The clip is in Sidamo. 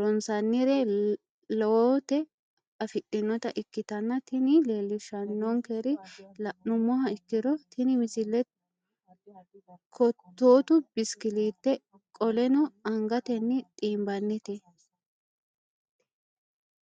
ronsannire lowote afidhinota ikkitanna tini leellishshannonkeri la'nummoha ikkiro tini misile kottootu bisikilliiteeti qolleno angatenni xiinbannite.